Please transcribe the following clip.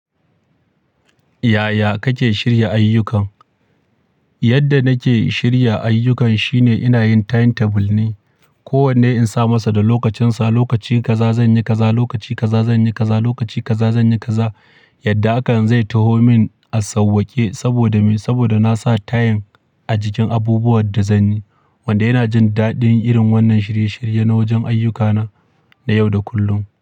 Yaya kake shirya ayyukan? Yadda nake shirya ayyukan shine ina yin timetable ne. Ko wanne in sa masa da lokacinsa, lokaci kaza zan yi kaza, lokaci kaza zan yi kaza, lokaci kaza zan yi kaza. Yadda haka zai taho min a sauwaƙe saboda me? Saboda na sa time a jikin abubuwan da zan yi. Wanda ina jin daɗin irin wannan shirye-shirye na wajen ayyukana na yau da kullum.